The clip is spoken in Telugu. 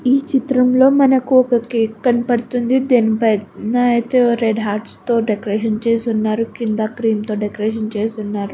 ఈ చిత్రం లో మనకి ఒక కేక్ కనపడుతుంది. దాని పైన అయితే రెండు హార్ట్స్ తో అయితే డెకరేషన్ చేసి ఉన్నారు. కింద క్రీమ్ తో డెకరేషన్ చేసి ఉన్నారు.